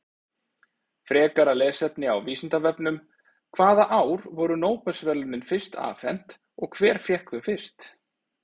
Frekara lesefni á Vísindavefnum: Hvaða ár voru Nóbelsverðlaunin fyrst afhent og hver fékk þau fyrst?